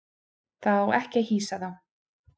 Það á ekki að hýsa þá.